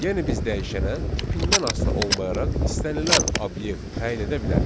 Yəni biz dəyişənə tipindən asılı olmayaraq istənilən obyekt təyin edə bilərik.